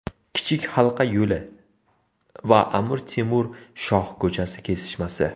Kichik halqa yo‘li va Amir Temur shoh ko‘chasi kesishmasi.